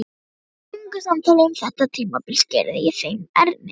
Í löngu samtali um þetta tímabil skýrði ég þeim Erni